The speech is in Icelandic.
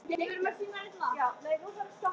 Mótaðu nýja framtíð með okkur!